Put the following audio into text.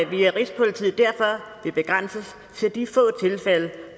via rigspolitiet derfor vil begrænses til de